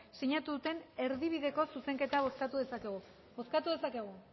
sinatu duten erdibideko zuzenketa bozkatu dezakegu bozkatu dezakegu